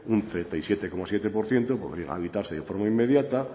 un treinta y siete coma siete por ciento podría habitarse de forma inmediata